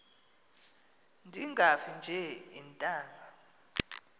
ndingafi nje iintanga